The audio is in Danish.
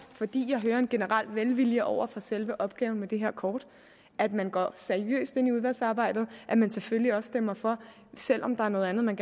fordi jeg hører en generel velvilje over for selve opgaven med det her kort at man går seriøst ind i udvalgsarbejdet og at man selvfølgelig også stemmer for selv om der er noget andet man